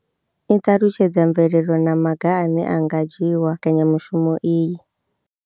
I ṱalutshedza mvelelo na maga ane a nga dzhiwa u mbekanya mushumo iyi.